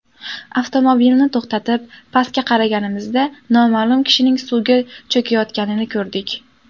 Avtomobilni to‘xtatib, pastga qaraganimizda noma’lum kishining suvga cho‘kayotganini ko‘rdik.